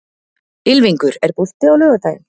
Ylfingur, er bolti á laugardaginn?